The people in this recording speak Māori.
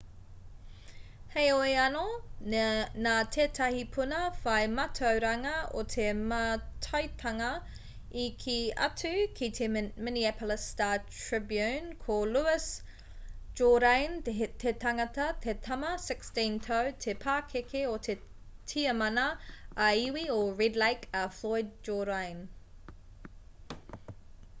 heoi anō nā tētahi puna whai mātauranga o te mātaitanga i kī atu ki te minneapolis star-tribune ko louis jourdain te tangata te tama 16-tau te pakeke o te tiamana ā-iwi o red lake a floyd jourdain